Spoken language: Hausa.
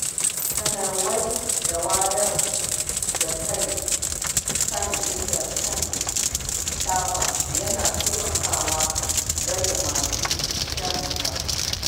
Sanarwa da wayar da kai kan illar shan taba yana taimakawa rage masu shansa.